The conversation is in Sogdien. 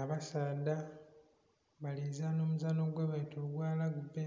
Abasaadha bali zaana omuzaano gwebeta ogwa lagibbe,